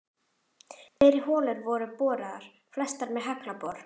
Fleiri holur voru boraðar, flestar með haglabor.